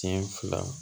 Sen fila